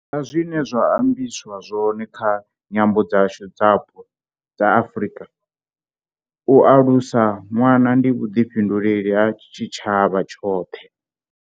Sa zwine zwa ambiswa zwone kha nyambo dzashu dzapo dza Afrika, u alusa ṅwana ndi vhuḓifhinduleli ha tshitshavha tshoṱhe.